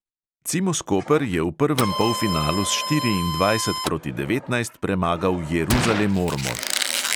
Cimos koper je v prvem polfinalu s štiriindvajset proti devetnajst premagal jeruzalem ormož.